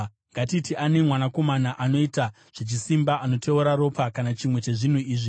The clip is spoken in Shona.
“Ngatiti ane mwanakomana anoita zvechisimba, anoteura ropa kana chimwe chezvinhu izvi